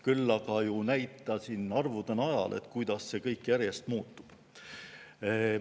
Küll aga näitasin arvude najal, kuidas see kõik järjest muutub.